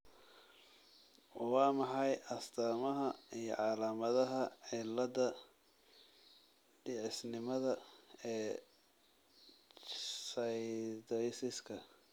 Waa maxay astamaha iyo calaamadaha cilada dhicisnimada ee chthyosiska ?